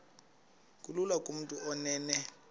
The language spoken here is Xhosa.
kulula kumntu onen